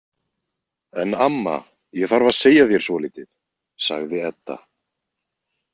En amma, ég þarf að segja þér svolítið, sagði Edda.